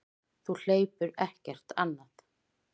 Þú hleypur ekkert annað.